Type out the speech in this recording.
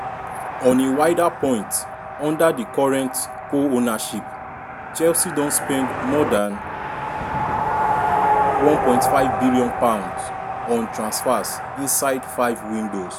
on a wider point under di current co-ownership chelsea don spend more don spend more dan â£1.5 billion on transfers inside five windows.